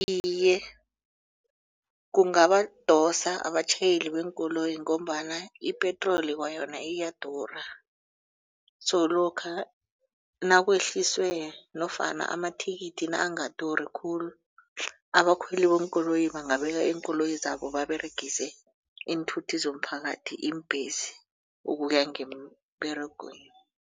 Iye kungabadosa abatjhayeli beenkoloyi ngombana ipetroli kwayona iyadura. So lokha nakwehliswe nofana amathikithi nangaduri khulu abakhweli beenkoloyi bangabeka iinkoloyi zabo baberegise iinthuthi zomphakathi iimbhesi ukuya ngemberegweni.